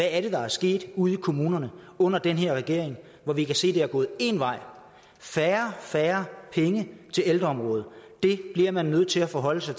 er der er sket ude i kommunerne under den her regering hvor vi kan se at det er gået en vej færre færre penge til ældreområdet det bliver man nødt til at forholde sig